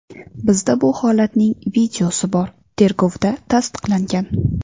Bizda bu holatning videosi bor, tergovda tasdiqlangan.